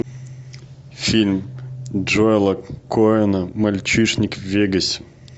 фильм джоэла коэна мальчишник в вегасе